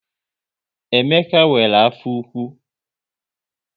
Emeka nwere afọ ụkwụ